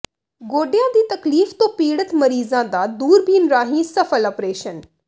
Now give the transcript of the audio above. ਗੋਡਿਆਂ ਦੀ ਤਕਲੀਫ਼ ਤੋਂ ਪੀੜਤ ਮਰੀਜ਼ਾਂ ਦਾ ਦੂਰਬੀਨ ਰਾਹੀਂ ਸਫ਼ਲ ਆਪ੍ਰਰੇਸ਼ਨ